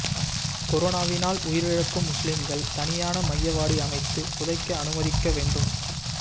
கொரோனாவினால் உயிரிழக்கும் முஸ்லிம்கள் தனியான மையவாடி அமைத்து புதைக்க அனுமதிக்க வேண்டும்